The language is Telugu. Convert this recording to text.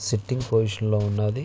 సిట్టింగ్ పొజిషన్ లో ఉన్నది.